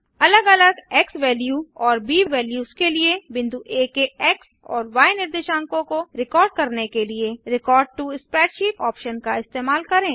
अलग अलग एक्सवैल्यू और ब वैल्यूस के लिए बिंदु आ के एक्स और य निर्देशांकों को रिकॉर्ड करने के लिए रेकॉर्ड टो स्प्रेडशीट ऑप्शन का इस्तेमाल करें